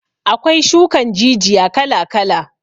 Akwai shukan jijiya kala kala